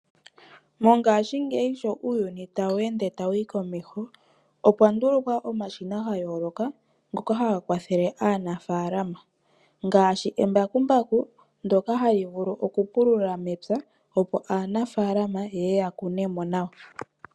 Mongaashingeyi sho uuyuni tawu ende ta wuyi komeho. Opwa ndulukwa omashina ga yooloka ngoka haga kwathele aanafaalama ngaashi embakumbaku ndyoka hali vulu oku pulula mepya opo aanafaalama yeye ya kune mo nawa.